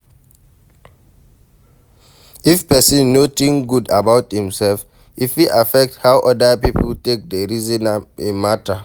If person no think good about im self, e fit affect how oda pipo take dey reason im matter